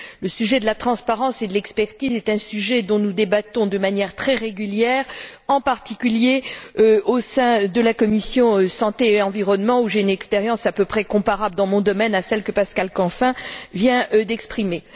Le sujet de la transparence et de l'expertise est un sujet dont nous débattons de manière très régulière, en particulier au sein de la commission de la santé et de l'environnement, où j'ai une expérience à peu près comparable dans mon domaine à celle que Pascal Canfin vient d'exprimer.